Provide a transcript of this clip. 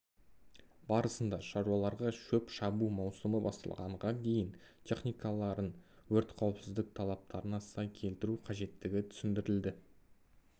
барысында шаруаларға шөп шабу маусымы басталғанға дейін техникаларын өрт қауіпсіздік талаптарына сай келтіру қажеттігі түсіндірілді